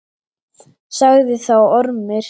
Sagði þá Ormur: